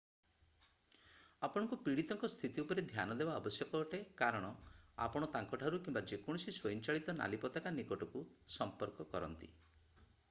ଆପଣଙ୍କୁ ପୀଡିତଙ୍କ ସ୍ଥିତି ଉପରେ ଧ୍ୟାନ ଦେବା ଆବଶ୍ୟକ ଅଟେ କାରଣ ଆପଣ ତାଙ୍କ ଠାରୁ କିମ୍ବା ଯେକୌଣସି ସ୍ଵୟଂଚାଳିତ ନାଲି ପତାକା ନିକଟକୁ ସମ୍ପର୍କ କରନ୍ତି